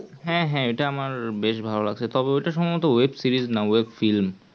হ্যাঁ হ্যাঁ ওটা আমার বেশ ভালো লাগছে তবে ওটা সম্ভবত web-series না web-film